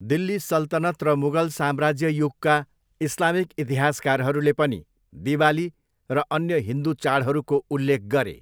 दिल्ली सल्तनत र मुगल साम्राज्य युगका इस्लामिक इतिहासकारहरूले पनि दिवाली र अन्य हिन्दु चाडहरूको उल्लेख गरे।